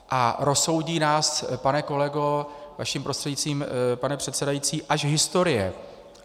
A rozsoudí nás, pane kolego, vaším prostřednictvím, pane předsedající, až historie.